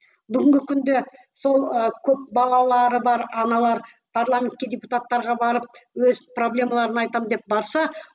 бүгінгі күнде сол ы көп балалары бар аналар парламентке депутаттарға барып өз проблемаларын айтамын деп барса